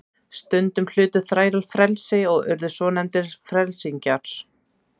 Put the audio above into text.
Stundum hlutu þrælar frelsi og urðu svonefndir frelsingjar.